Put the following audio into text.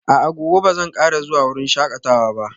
A'a, gobe ba zan kara zuwa wurin shakatawa ba